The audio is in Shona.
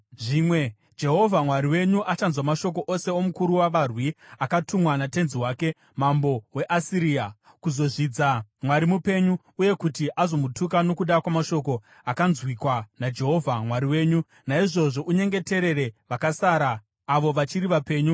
Zvimwe Jehovha Mwari wenyu achanzwa mashoko ose omukuru wavarwi, akatumwa natenzi wake, mambo weAsiria, kuzozvidza Mwari mupenyu, uye kuti azomutuka nokuda kwamashoko akanzwikwa naJehovha Mwari wenyu. Naizvozvo unyengeterere vakasara avo vachiri vapenyu.”